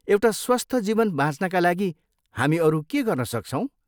एउटा स्वस्थ जीवन बाँच्नका लागि हामी अरू के गर्नसक्छौँ?